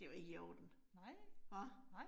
Det jo ikke i orden. Hva?